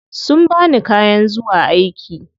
Sun bani kayan zuwa aiki.